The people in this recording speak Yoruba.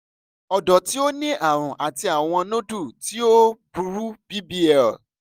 ọdọ ti o ni arun ati awọn nodule ti o o buru bbl